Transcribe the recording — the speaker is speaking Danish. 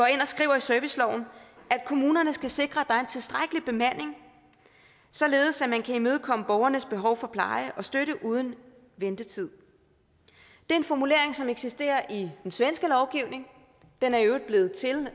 ind og skriver i serviceloven at kommunerne skal sikre at der er en tilstrækkelig bemanding således at man kan imødekomme borgernes behov for pleje og støtte uden ventetid det er en formulering som eksisterer i den svenske lovgivning den er i øvrigt blevet til